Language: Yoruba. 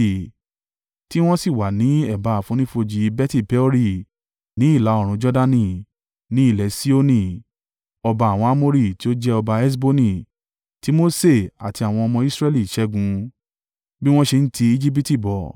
Tí wọ́n sì wà ní ẹ̀bá àfonífojì Beti-Peori ní ìlà-oòrùn Jordani; ní ilẹ̀ Sihoni, ọba àwọn Amori tí ó jẹ ọba Heṣboni tí Mose àti àwọn ọmọ Israẹli ṣẹ́gun, bí wọ́n ṣe ń ti Ejibiti bọ̀.